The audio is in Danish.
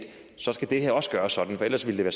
så skal det her også gøres sådan for ellers ville det